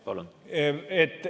Palun!